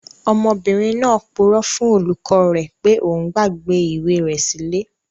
Ọmọbìnrin náà purọ́ fún olùkọ́ rẹ̀ pé òun gbàgbé ìwé rẹ̀ sí ilé